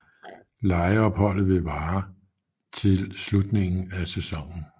Lejeopholdet ville vare til slutningen af sæsonen